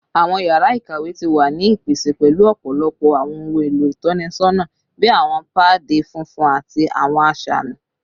Awọn yara ikawe ti wa ni ipese pẹlu ọpọlọpọ awọn ohun elo itọnisọna bi awọn paadi funfun ati awọn asami